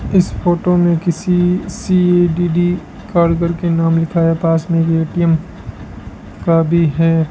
इस फोटो में किसी सी डी डी काल करके नाम लिखा है पास में ए_टी_एम का भी है।